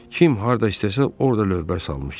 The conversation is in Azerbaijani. Kim harda istəsə orda lövbər salmışdı.